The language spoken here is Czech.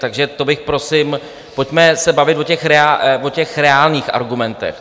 Takže to bych prosím - pojďme se bavit o těch reálných argumentech.